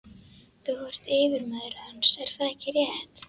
Þú ert yfirmaður hans, er það ekki rétt?